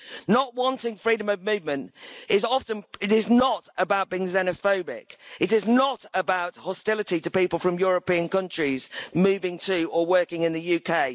Not wanting freedom of movement is not about being xenophobic, it is not about hostility to people from European countries moving to or working in the UK.